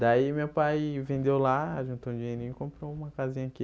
Daí meu pai vendeu lá, juntou um dinheirinho e comprou uma casinha aqui.